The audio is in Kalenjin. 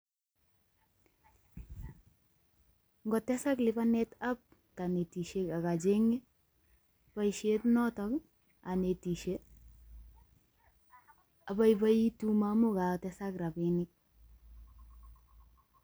Ngotesak lipanetab kanetisiek akacheng'e boisiet notok anetisie, abaibaitu ma amu kagotesak rabinik.